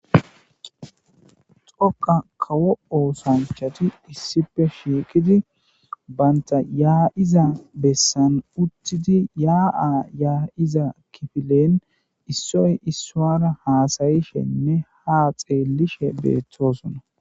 xoqa kawo oosanchati issipe shiiqidi baynta yaa7iza bessan uttidi yaa7a yaa7iza kifilen issoy issoara haasayishenne ha xeellishe beettosona